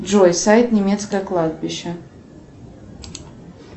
джой сайт немецкое кладбище